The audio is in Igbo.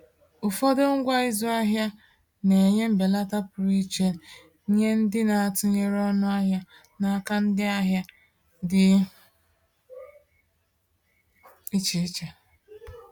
Ụfọdụ ngwa ịzụ ahịa na-enye mbelata pụrụ iche nye ndị na-atụnyere ọnụ ahịa n’aka ndị ahịa dị iche iche.